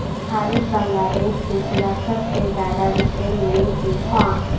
حارث بنگلہ دیش کے خلاف سب سے زیادہ وکٹیں لینے کے خواہاں